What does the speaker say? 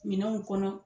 Minɛnw kɔnɔ